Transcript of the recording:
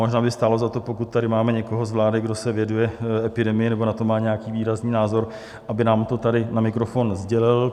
Možná by stálo za to, pokud tady máme někoho z vlády, kdo se věnuje epidemii nebo na to má nějaký výrazný názor, aby nám to tady na mikrofon sdělil.